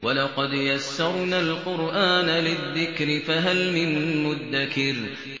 وَلَقَدْ يَسَّرْنَا الْقُرْآنَ لِلذِّكْرِ فَهَلْ مِن مُّدَّكِرٍ